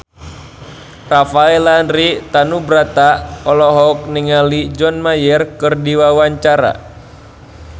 Rafael Landry Tanubrata olohok ningali John Mayer keur diwawancara